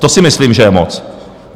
To si myslím, že je moc!